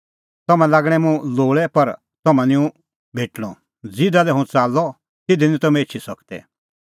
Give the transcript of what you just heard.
तम्हैं लागणै मुंह लोल़ै पर तम्हां निं हुंह भेटणअ ज़िधा लै हुंह च़ाल्लअ तिधी निं तम्हैं एछी सकदै